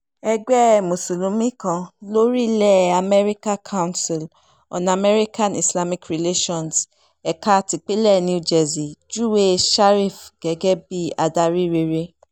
ẹgbẹ́ mùsùlùmí kan lórílẹ̀ amẹ́ríkà council on american-islamic relations ẹ̀ka tipinlẹ̀ new jersey júwe sharif gẹ́gẹ́ bíi adarí rere